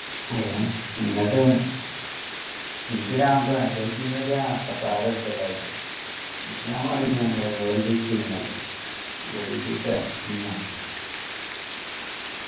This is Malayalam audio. ഏഹ് എന്നിട്ട് ഇൻസ്റ്റാഗ്രാം ഒക്കെ social media ഇൻസ്റ്റാഗ്രാം പറയുമ്പോ ഞമ്മളെ world is a king